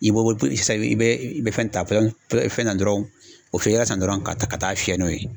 I bo bo sisani bɛ fɛn pɔsɔni ta dɔrɔn o fɛ san dɔrɔn ka taa ka taa fiyɛn n'o ye.